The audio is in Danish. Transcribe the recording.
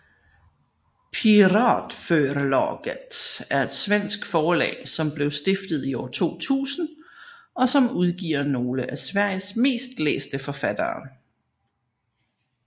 Piratförlaget er et svensk forlag som blev stiftet i år 2000 og som udgiver nogle af Sveriges mest læste forfattere